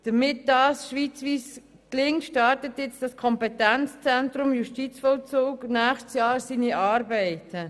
Damit das schweizweit gelingt, startet jetzt das Kompetenzzentrum Justizvollzug im kommenden Jahr mit seinen Arbeiten.